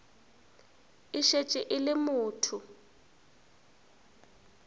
e šetše e le motho